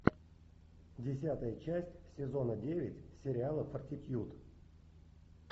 десятая часть сезона девять сериала фортитьюд